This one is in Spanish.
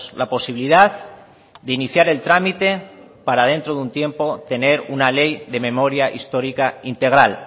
la posibilidad de iniciar el trámite para dentro de un tiempo tener una ley de memoria histórica integral